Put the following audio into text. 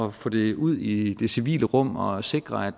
at få det ud i det civile rum og sikre